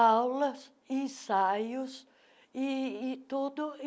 aulas, ensaios e e tudo.